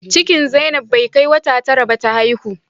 Cikin zainab bai kai wata tara ba ta haihu